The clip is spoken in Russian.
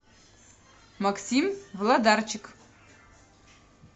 максим влодарчик